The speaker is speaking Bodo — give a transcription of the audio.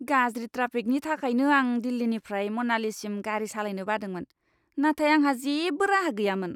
गाज्रि ट्राफिकनि थाखायनो आं दिल्लीनिफ्राय, मनालीसिम गारि सालायनो बादोंमोन, नाथाय आंहा जेबो राहा गैयामोन।